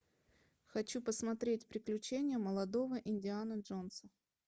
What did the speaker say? хочу посмотреть приключения молодого индианы джонса